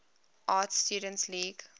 art students league